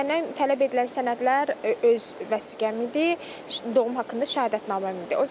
Məndən tələb edilən sənədlər öz vəsiqəm idi, doğum haqqında şəhadətnaməm idi.